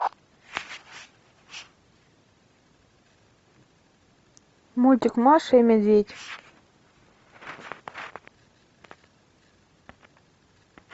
мультик маша и медведь